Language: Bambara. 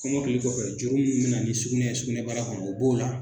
Kɔmɔkili kɔfɛ juru minnu bɛna na ni sugunɛ ye sugunɛbara kɔnɔ o b'o la